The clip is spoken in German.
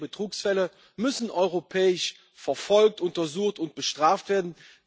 Europäische Betrugsfälle müssen europäisch verfolgt, untersucht und bestraft werden.